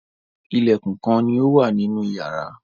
Ilẹ̀kùn kán ní ọ wá nínú iyàrá.